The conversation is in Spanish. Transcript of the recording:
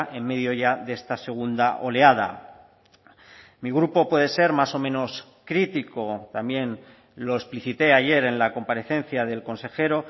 en medio ya de esta segunda oleada mi grupo puede ser más o menos crítico también lo explicité ayer en la comparecencia del consejero